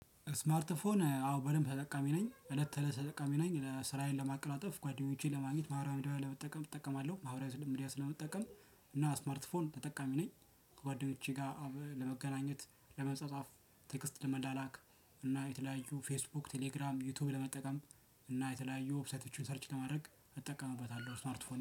ስማርት ፎን አዎ በደንብ ተጠቃሚ ነኝ እለት ተለሰ ተጠቃሚ ነኝ ለስራዬን ለማቅላጠፍ ጓደኞቼን ለማግኘት ማህራዊ ሚዲያ ለመጠቀም እጠቀማለሁ ማህራዊ ስምሚድያ ስለመጠቀም። ስማርትፎን ተጠቃሚ ነኝ ከጓደኞቼ ጋር ለመገናኘት ለመጻጻፍ ቴክስት ለመላላክ እና የተለያዩ ፌስቡክ ቴሌግራም ዩቲዩብ ለመጠቀም እና የተለያዩ ዎፕሳይቶችን ሰርች ለማድረግ እጠቀምበታለሁ። ስማርት ፎን